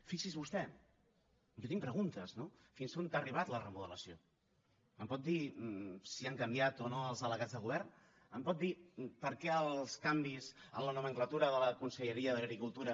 fixi s’hi vostè jo tinc preguntes no fins on ha arribat la remodelació em pot dir si han canviat o no els delegats de govern em pot dir per què els canvis en la nomenclatura de la conselleria d’agricultura